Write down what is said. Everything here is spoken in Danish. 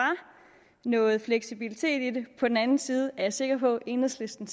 noget fleksibilitet i det på den anden side er jeg sikker på at enhedslisten